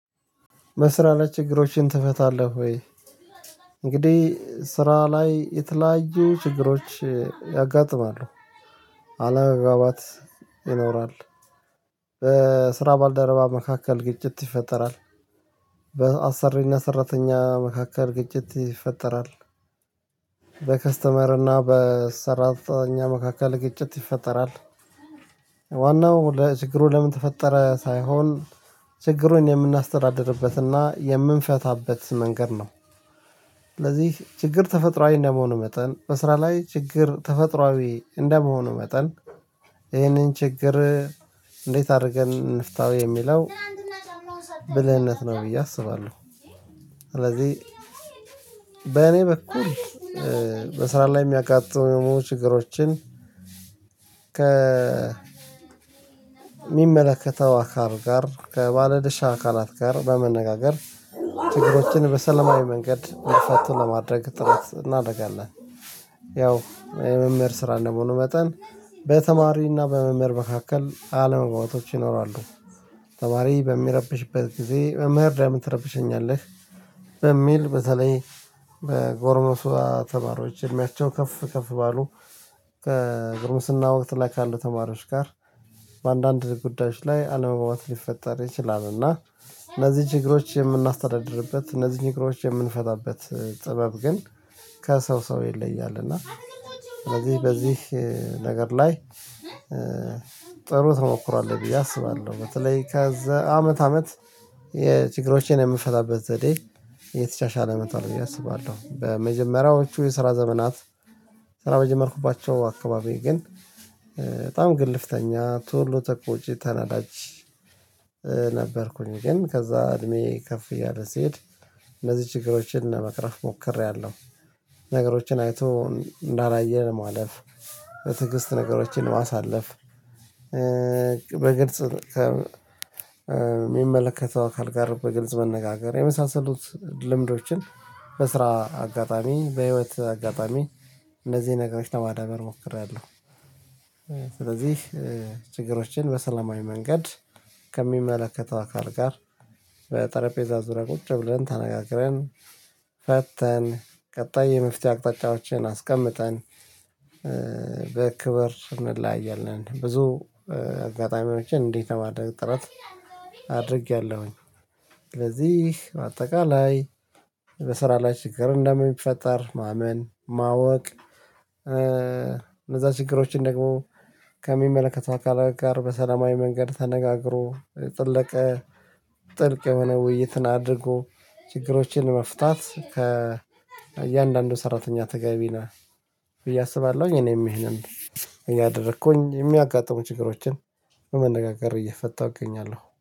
በስራ ላይ ችግሮችን ትፈታለህ ወይ? እንግዲህ ስራ ላይ የተለያዩ ችግሮች ያጋጥማሉ። አለመግባባት ይኖራል፣ በስራ ባልደረባ መካከል ግጭት ይፈጠራል፣ በአሰሪና ሰራተኛ መካከል ግጭት ይፈጠራል፣ በከስተመር እና በሰራተኛ መካከል ግጭት ይፈጠራል፣ ዋናው ለችግሩ ለምን ተፈጠረ ሳይሆን ችግሩን የምናስተዳድርበትና የምንፈታበት መንገድ ነው። ስለዚህ ችግር ተፈጥሮአዊ እንደመሆኑ መጠን በስራ ላይ ችግር ተፈጥሮአዊ እንደመሆኑ መጠን ይህንን ችግር እንዴት አድርገን እንፍታው የሚለው ብልህነት ነው ብዬ አስባለሁ፣ ስለዚህ በእኔ በኩል በስራ ላይ የሚያጋጥሙ ችግሮችን ከ ከሚመለከተው አካል ጋር፣ ከባለደሻ አካላት ጋር በመነጋገር ትግሮችን በሰለማዊ መንገድ መፍታት ለማድረግ ጥረት እናደርጋለን። ያው የመምህር ስራ እንደሆኑ መጠን በተማሪና በመምህር መካከል አለመግባባቶች ይኖራሉ ተማሪ በሚረብሽበት ጊዜ መምህር ደሞ ለምን ትረብሸኛለህ በሚል በተለይ ተማሪዎች እድሜያቸው ከፍ ከፍ ባሉ ከጎርምስና ወቅት ላይ ካሉ ተማሪዎች ጋር በአንዳንድ ጉዳዮች ላይ አለመግባባት ሊፈጠር ይችላል እና እነዚህ ችግሮች የምናስተዳድርበት እነዚህን ችግሮች የምንፈታበት ጥበብ ግን ከሰው ሰው ይለያል እና እነዚህ በዚህ ነገር ላይ ጥሩ ተሞክሮ አለኝ ብዬ አስባለሁ በተለይ ከዛ አመት አመት የችግሮችን የምፈታበት ዘዴ እየተሻሻለ መቷል ብዬ አስባለሁ። በመጀመሪያዎቹ የስራ ዘመናት ስራ በጀመርኩባቸው አካባቢ ግን በጣም ግልፍተኛ፣ ቶሎ ተቆች ተናዳጅ ነበርኩኝ ግን ከዛ እድሜዬ ከፍ እያለ ስሄድ እነዚህ ችግሮችን ለመቅረፍ ሞክሬያለሁ። ነገሮችን አይቶ እንዳላየ ለማለፍ፣ በትዕግስት ነገሮችን ለማሳለፍ በግልጽ ከሚመለከተው አካል ጋር በግልጽ መነጋገር የመሳሰሉት ልምዶችን በስራ አጋጣሚ፣ በህይወት አጋጣሚ እነዚህን ነገሮችን ለማዳበር ሞክሬያለሁ ስለዚህ ችግሮችን በሰለማዊ መንገድ ከሚመለከተው አካል ጋር በጠረጴዛ ዙሪያ ቁጭ ብለን፣ ተነጋግረን ፈተን፣ ቀጣይ የመፍትሄ አቅጣጫዎችን አስቀምጠን በክብር እንለያያለን ብዙ አጋጣሚዎችን እንዲህ ለማድረግ ጥረት አድርጌያለሁኝ፤ ስለዚህ በአጠቃላይ በስራ ላይ ችግር እንደሚፈጠር ማመን፣ ማወቅ፣ እነዛ ችግሮችን ደግሞ ከሚመለከት አካል ጋር በሰላማዊ መንገድ ተነጋግሮ ጥልቅ ጥልቅ የሆነ ውይይትን አድርጎ ችግሮችን መፍታት ከእያንዳንዱ ሰራተኛ ተገቢ ነው ብዬ አስባለሁኝ እኔም ይሄንን እያደረኩኝ የሚያጋጥሙ ችግሮችን በመነጋገር እየፈታሁ እገኛለሁ።